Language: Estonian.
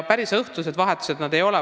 Päris õhtused vahetused need ei ole.